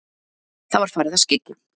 Það var farið að skyggja.